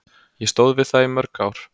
Ég stóð við það í mörg ár.